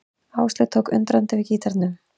Áslaug tók undrandi við gítarnum.